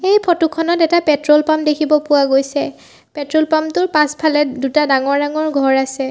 এই ফটো খনত এটা পেট্ৰল পাম্প দেখিব পোৱা গৈছে পেট্ৰল পাম্প টোৰ পাচফালে দুটা ডাঙৰ ডাঙৰ ঘৰ আছে।